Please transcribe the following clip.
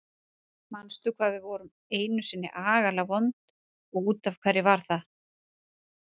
Manstu hvað við vorum einu sinni agalega vond og út af hverju það var?